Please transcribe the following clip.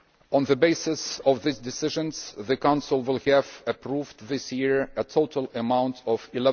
On the basis of these decisions, the Council will have approved this year a total amount of EUR